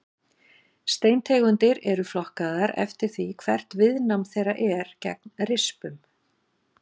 Steintegundir eru flokkaðar eftir því hvert viðnám þeirra er gegn rispum.